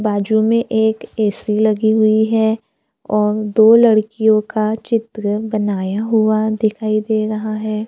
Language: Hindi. बाजू में एक ए_सी लगी हुई है और दो लड़कियों का चित्र बनाया हुआ दिखाई दे रहा है।